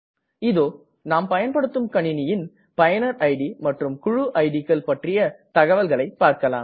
இதோ நாம் பயன்படுத்தும் கணினியின் பயனர் இட் மற்றும் குழு இட் கள் பற்றிய தகவல்களை பார்க்கலாம்